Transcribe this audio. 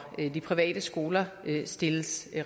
de private skoler stilles